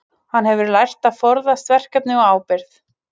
Hann hefur lært að forðast verkefni og ábyrgð.